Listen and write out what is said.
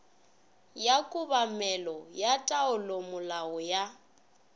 ya kobamelo ya taolomolao ya